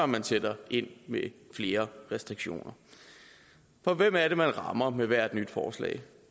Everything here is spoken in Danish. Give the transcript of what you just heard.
man sætter ind med flere restriktioner for hvem er det man rammer med hvert nyt forslag